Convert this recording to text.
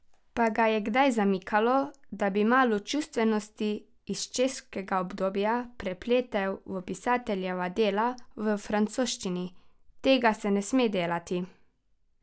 Pa ga je kdaj zamikalo, da bi malo čustvenosti iz češkega obdobja prepletel v pisateljeva dela v francoščini: 'Tega se ne sme delati!